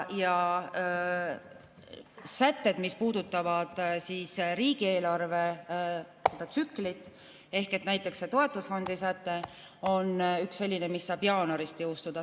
Sätted, mis puudutavad riigieelarve tsüklit, näiteks toetusfondi säte, on sellised, mis saavad jõustuda jaanuarist.